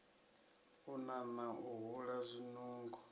u nana u hula zwinungo